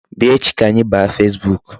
Bịa echi ka anyị baa Facebook.